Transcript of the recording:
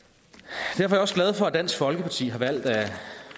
derfor er jeg også glad for at dansk folkeparti har valgt at